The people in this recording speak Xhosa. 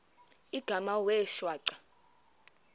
igama wee shwaca